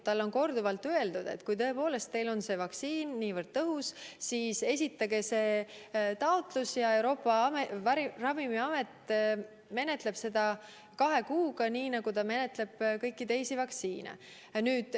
Talle on korduvalt öeldud, et kui tõepoolest see vaktsiin on niivõrd tõhus, siis esitage taotlus ja Euroopa Ravimiamet menetleb selle kahe kuuga, nii nagu ta menetleb kõiki teisi vaktsiine.